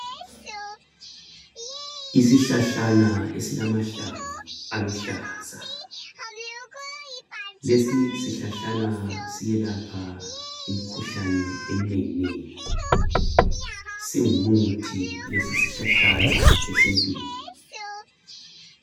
Isihlahlana esilamahlamvu aluhlaza lesi sihlahlana siyelapha imikhuhlane eminengi nengi ,singumuthi lesi sihlahlana esintwini.